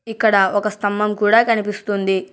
ఇక్కడ ఒక స్తంభం కూడా కనిపిస్తుంది.